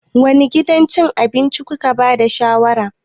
Wane gidan cin abinci kuke ba da shawarar?